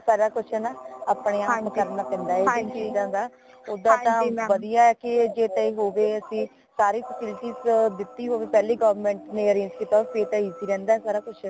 "ਸਾਰਾ ਕੁਛ ਨਾ ਆਪਣੇ ਆਪ ਕਰਨਾ ਪੈਂਦਾ ਹੈ ਹੈ ਨਾ ਓਦਾਂ ਵਦੀਆ ਹੈ ਕਿ ਸਾਰੀ facilities ਦਿਤੀ ਹੋਵੇ ਪਹਿਲੇ